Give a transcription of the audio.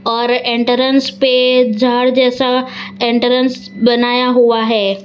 और एंट्रेंस पे झाड़ जैसा एंट्रेंस बनाया हुआ है।